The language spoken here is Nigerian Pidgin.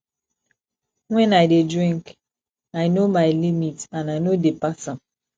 wen i dey drink i no my limit and i no dey pass am